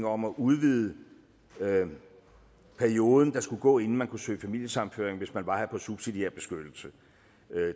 om at udvide den periode der skulle gå inden man kunne søge familiesammenføring hvis man var her på subsidiær beskyttelse